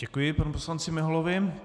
Děkuji panu poslanci Miholovi.